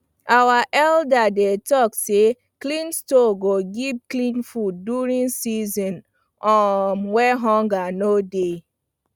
our elders dey talk say clean store go give clean food during season um wey hunger go dey